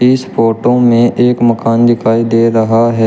इस फोटो में एक मकान दिखाई दे रहा है।